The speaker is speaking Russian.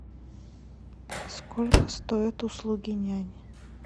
сколько стоят услуги няни